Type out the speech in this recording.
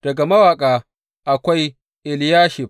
Daga mawaƙa, akwai Eliyashib.